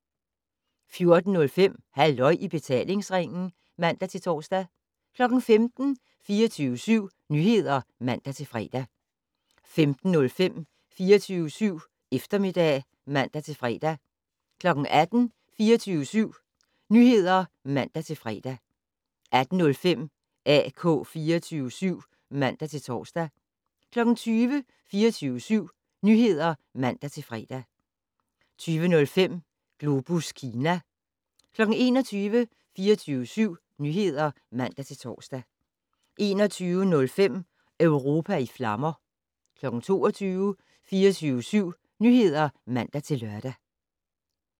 14:05: Halløj i betalingsringen (man-tor) 15:00: 24syv Nyheder (man-fre) 15:05: 24syv Eftermiddag (man-fre) 18:00: 24syv Nyheder (man-fre) 18:05: AK 24syv (man-tor) 20:00: 24syv Nyheder (man-fre) 20:05: Globus Kina 21:00: 24syv Nyheder (man-tor) 21:05: Europa i flammer 22:00: 24syv Nyheder (man-lør)